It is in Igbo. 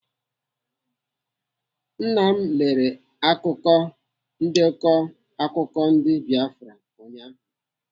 Nna m lere ndekọ akụkọ ndị Biafra ụnyaahụ.